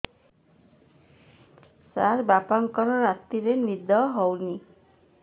ସାର ବାପାଙ୍କର ରାତିରେ ନିଦ ହଉନି